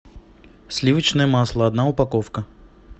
сливочное масло одна упаковка